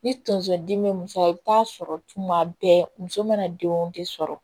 Ni tonso dimi be muso la i bi taa sɔrɔ tuma bɛɛ muso mana denw de sɔrɔ